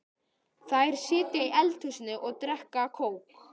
Þær sitja í eldhúsinu og drekka kók.